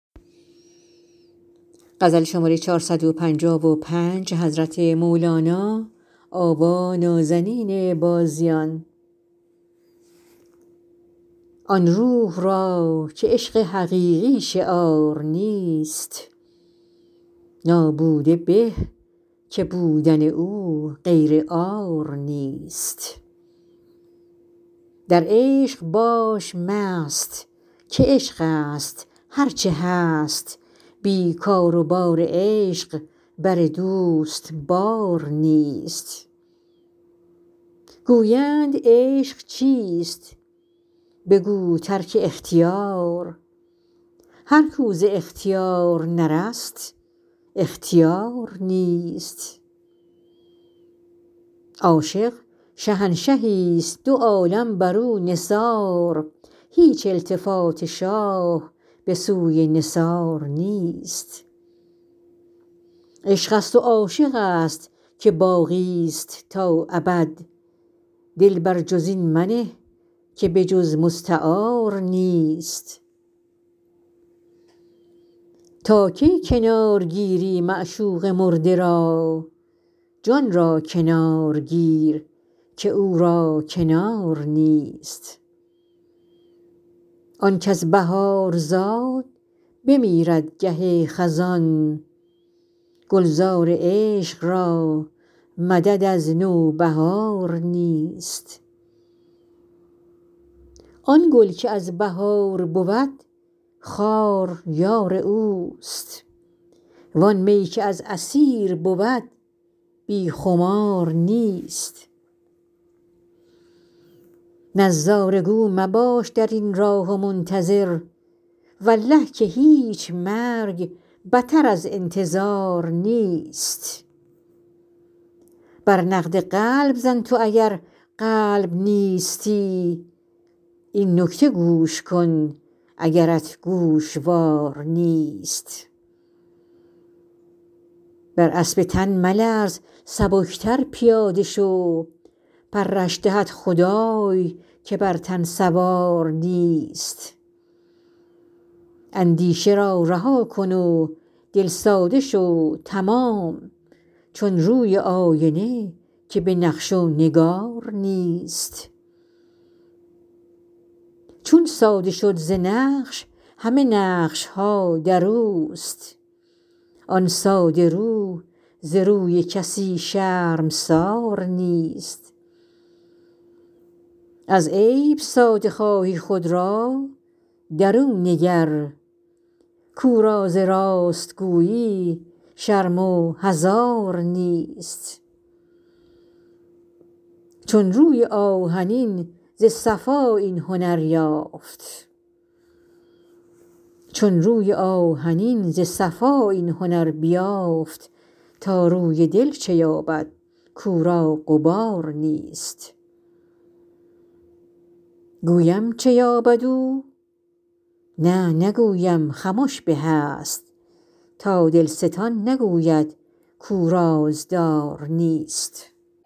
آن روح را که عشق حقیقی شعار نیست نابوده به که بودن او غیر عار نیست در عشق باش مست که عشقست هر چه هست بی کار و بار عشق بر دوست بار نیست گویند عشق چیست بگو ترک اختیار هر کو ز اختیار نرست اختیار نیست عاشق شهنشهیست دو عالم بر او نثار هیچ التفات شاه به سوی نثار نیست عشقست و عاشقست که باقیست تا ابد دل بر جز این منه که به جز مستعار نیست تا کی کنار گیری معشوق مرده را جان را کنار گیر که او را کنار نیست آن کز بهار زاد بمیرد گه خزان گلزار عشق را مدد از نوبهار نیست آن گل که از بهار بود خار یار اوست وان می که از عصیر بود بی خمار نیست نظاره گو مباش در این راه و منتظر والله که هیچ مرگ بتر ز انتظار نیست بر نقد قلب زن تو اگر قلب نیستی این نکته گوش کن اگرت گوشوار نیست بر اسب تن ملرز سبکتر پیاده شو پرش دهد خدای که بر تن سوار نیست اندیشه را رها کن و دل ساده شو تمام چون روی آینه که به نقش و نگار نیست چون ساده شد ز نقش همه نقش ها در اوست آن ساده رو ز روی کسی شرمسار نیست از عیب ساده خواهی خود را در او نگر کو را ز راست گویی شرم و حذار نیست چون روی آهنین ز صفا این هنر بیافت تا روی دل چه یابد کو را غبار نیست گویم چه یابد او نه نگویم خمش به است تا دلستان نگوید کو رازدار نیست